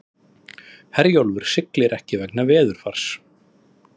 Herjólfur siglir ekki vegna veðurs